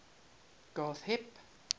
granth hib